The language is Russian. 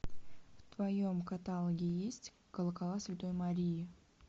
в твоем каталоге есть колокола святой марии